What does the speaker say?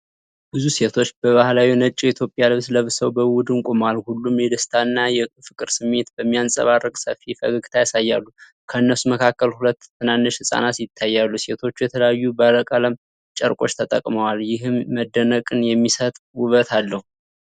ብዙ ሴቶች በባህላዊ ነጭ የኢትዮጵያ ልብስ ለብሰው በቡድን ቆመዋል። ሁሉም የደስታ እና የፍቅር ስሜት በሚያንጸባርቅ ሰፊ ፈገግታ ያሳያሉ። ከእነሱ መካከል ሁለት ትናንሽ ሕፃናት ይታያሉ። ሴቶቹ የተለያዩ ባለቀለም ጨርቆች ተጠቅመዋል፤ ይህም መደነቅን የሚሰጥ ውበት አለው።